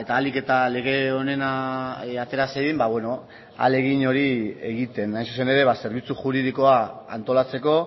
ahalik eta lege onena atera zedin ba beno ahalegin hori egiten hain zuzen ere zerbitzu juridikoa antolatzeko